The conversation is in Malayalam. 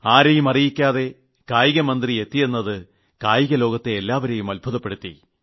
ആരേയും അറിയിക്കാതെ കായിക മന്ത്രി എത്തിയെന്നത് കായിക ലോകത്തെ ഏല്ലാവരെയും അത്ഭുതപ്പെടുത്തി